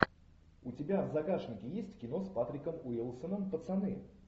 у тебя в загашнике есть кино с патриком уилсоном пацаны